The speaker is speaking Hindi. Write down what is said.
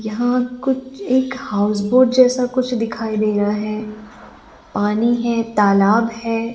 यहा कुछ एक हाउसबोट जैसा कुछ दिखाई दे रहा है पानी है तालाब है।